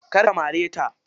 Kar ka mare ta.